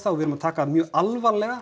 við erum að taka það mjög alvarlega